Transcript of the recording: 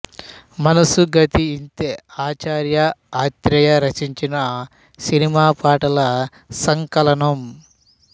మనసు గతి ఇంతే ఆచార్య ఆత్రేయ రచించిన సినిమా పాటల సంకలనం